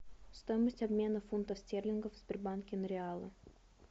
стоимость обмена фунтов стерлингов в сбербанке на реалы